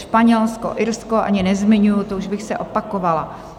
Španělsko, Irsko ani nezmiňuji, to už bych se opakovala.